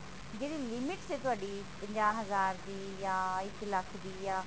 ਜਿਹੜੀ limit ਹੈ ਤੁਹਾਡੀ ਪੰਜਾਹ ਹਜ਼ਾਰ ਦੀ ਜਾ ਇਕ ਲੱਖ ਦੀ ਜਾ